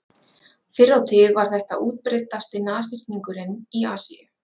fyrr á tíð var þetta útbreiddasti nashyrningurinn í asíu